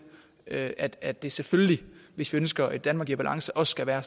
at at det selvfølgelig hvis vi ønsker et danmark i balance også skal være